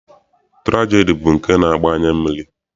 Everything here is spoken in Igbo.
Tụrajedi bụ nke na-agba anya mmiri.